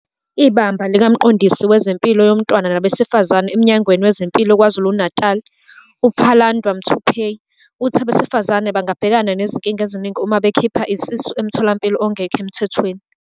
IBamba likaMqondisi Wezempilo Yomntwana Nabesifazane eMnyangweni Wezempilo KwaZulu-Natali, uPhalanndwa Muthuphei, uthi abesifazane bangabhekana nezinkinga eziningi uma bekhipha isisu emtholampilo ongekho emthethweni.